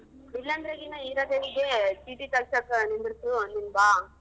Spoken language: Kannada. ಇಲ್ಲಾಂದ್ರೆ ಗಿನ ಹೀರಾದೇವಿಗೆ ಚೀಟಿ ತಗ್ಸಕ್ಕ ನಿಂದ್ರಿಸು ನೀನ್ ಬಾ.